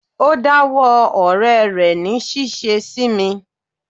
O dá wó ọ̀rẹ́ rẹ̀ ní ṣíṣe sí mi.